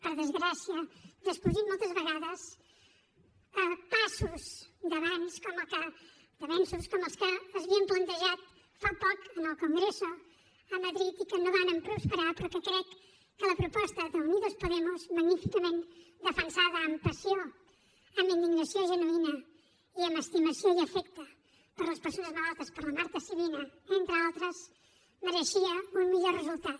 per desgràcia descosint moltes vegades passos d’abans d’avenços com els que s’havien plantejat fa poc en el congreso a madrid i que no varen prosperar però que crec que la proposta d’unidos podemos magníficament defensada amb passió amb indignació genuïna i amb estimació i afecte per les persones malaltes per la marta sibina entre d’altres mereixia un millor resultat